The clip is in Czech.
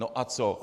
No a co!